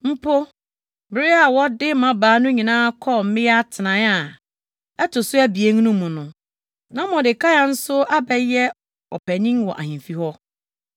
Mpo, bere a wɔde mmabaa no nyinaa kɔɔ mmea atenae a ɛto so abien no mu no, na Mordekai nso abɛyɛ ɔpanyin wɔ ahemfi hɔ no,